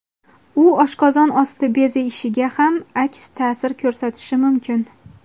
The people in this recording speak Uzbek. u oshqozon osti bezi ishiga ham aks ta’sir ko‘rsatishi mumkin.